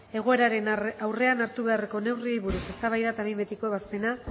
egoeraren aurrean hartu beharreko neurriei buruz eztabaida eta behin betiko ebazpena